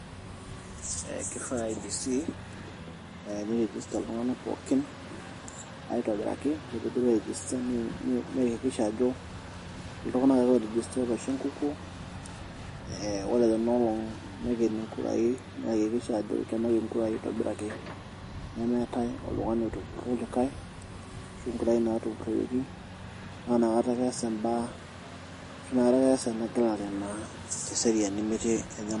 Ee kifaa IEBC pee irejista iltung'anak pookin aitobiraki ore piidid airejita niakikisha ajo iltung'anak ake oirejista ootaasa enkukuo ee ore tina olong' naikeni nkuraai niakikisha ajo ikenaki nkurai aitobiraki nemeetai oltung'ani otupurro olikai ashu nkurai naatupuroyieki naa nakata ake eesa imbaa, tinakata ake eesa engelare aitobiraki metii enyamali.